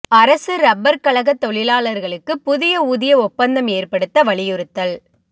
அரசு ரப்பா் கழகத் தொழிலாளா்களுக்கு புதிய ஊதிய ஒப்பந்தம் ஏற்படுத்த வலியுறுத்தல்